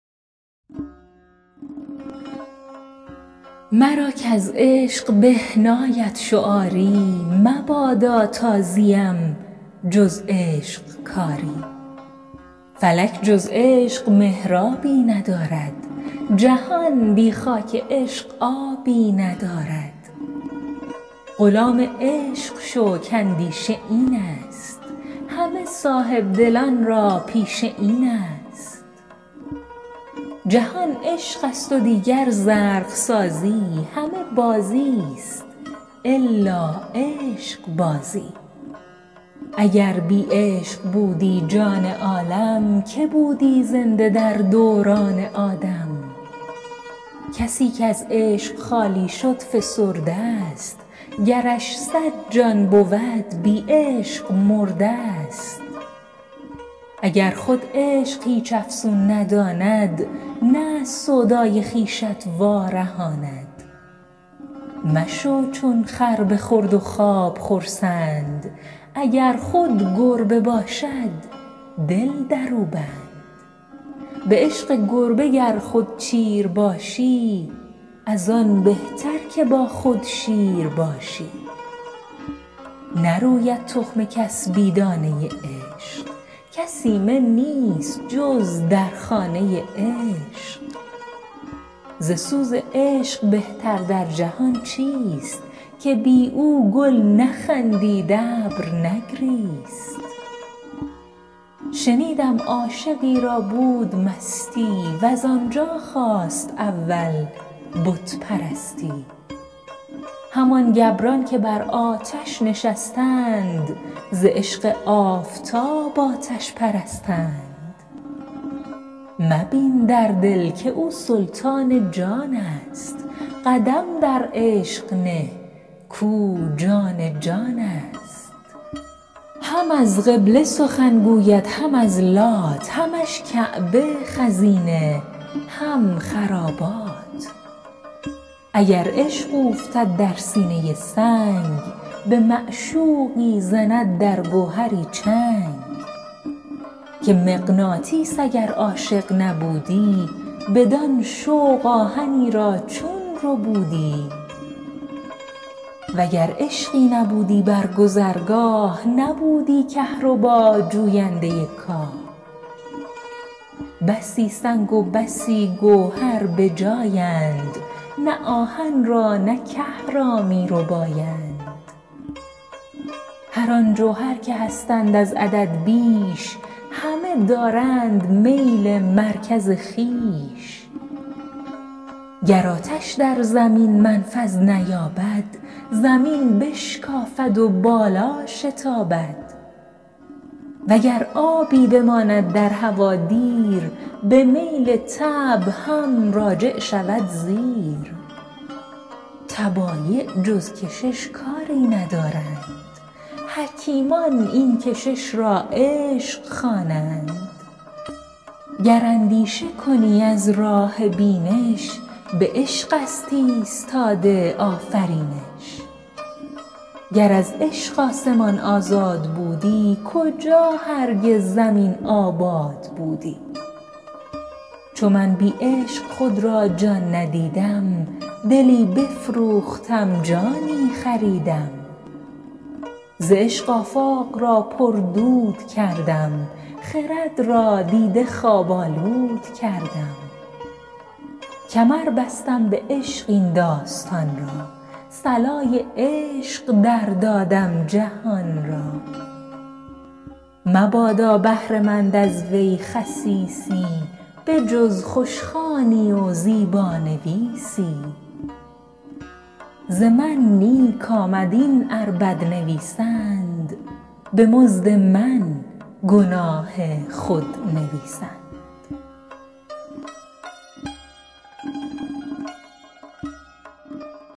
مرا کـز عشق به ناید شعاری مبادا تا زیم جز عشق کاری فلک جز عشق محرابی ندارد جهان بی خاک عشق آبی ندارد غلام عشق شو کاندیشه این است همه صاحب دلان را پیشه این است جهان عشقست و دیگر زرق سازی همه بازیست الا عشقبازی اگر بی عشق بودی جان عالم که بودی زنده در دوران عالم کسی کز عشق خالی شد فسرده ست گرش صد جان بود بی عشق مرده ست اگر خود عشق هیچ افسون نداند نه از سودای خویشت وا رهاند مشو چون خر به خورد و خواب خرسند اگر خود گربه باشد دل درو بند به عشق گربه گر خود چیر باشی از آن بهتر که با خود شیر باشی نروید تخم کس بی دانه عشق کس ایمن نیست جز در خانه عشق ز سوز عشق بهتر در جهان چیست که بی او گل نخندید ابر نگریست شنیدم عاشقی را بود مستی وز آنجا خاست اول بت پرستی همان گبران که بر آتش نشستند ز عشق آفتاب آتش پرستند مبین در دل که او سلطان جانست قدم در عشق نه کاو جان جانست هم از قبله سخن گوید هم از لات همش کعبه خزینه هم خرابات اگر عشق اوفتد در سینه سنگ به معشوقی زند در گوهری چنگ که مغناطیس اگر عاشق نبودی بدان شوق آهنی را چون ربودی و گر عشقی نبودی بر گذرگاه نبودی کهربا جوینده کاه بسی سنگ و بسی گوهر بجایند نه آهن را نه که را می ربایند هران جوهر که هستند از عدد بیش همه دارند میل مرکز خویش گر آتش در زمین منفذ نیابد زمین بشکافد و بالا شتابد و گر آبی بماند در هوا دیر به میل طبع هم راجع شود زیر طبایع جز کشش کاری ندانند حکیمان این کشش را عشق خوانند گر اندیشه کنی از راه بینش به عشق است ایستاده آفرینش گر از عشق آسمان آزاد بودی کجا هرگز زمین آباد بودی چو من بی عشق خود را جان ندیدم دلی بفروختم جانی خریدم ز عشق آفاق را پردود کردم خرد را دیده خواب آلود کردم کمر بستم به عشق این داستان را صلای عشق در دادم جهان را مبادا بهره مند از وی خسیسی به جز خوشخوانی و زیبانویسی ز من نیک آمد این ار بد نویسند به مزد من گناه خود نویسند